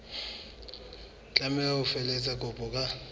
tlameha ho felehetsa kopo ka